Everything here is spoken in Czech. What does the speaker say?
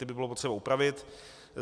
Ty by bylo potřeba upravit.